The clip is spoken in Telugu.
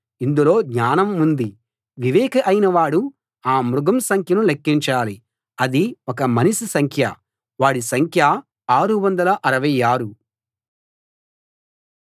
ఇందులో జ్ఞానం ఉంది వివేకి అయినవాడు ఆ మృగం సంఖ్యను లెక్కించాలి అది ఒక మనిషి సంఖ్య వాడి సంఖ్య 666